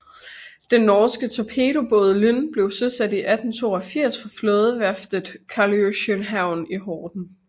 Den norske torpedobåd Lyn blev søsat i 1882 fra flådeværftet Karljohansvern i Horten